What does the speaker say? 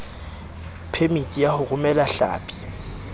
phemiti ya ho romela hlapi